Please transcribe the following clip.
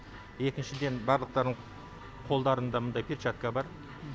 екіншіден барлықтарының қолдарында мындай перчатка бар